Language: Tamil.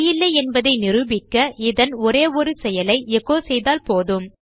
சரியில்லை என்பதை நிரூபிக்க இதன் ஒரே ஒரு செயலை எச்சோ செய்தால் போதும்